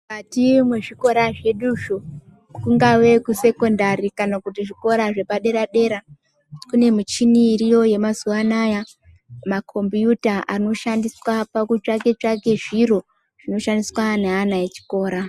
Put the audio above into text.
Ati muzvikora zveduzvo kungave kusekondari kana kuti zvikora zvepadera dera kune michini iriyo yemazuva anaya makhombiyuta anoshandiswa pakutsvake tsvake zviro zvinoshandiswa ngeana echikora.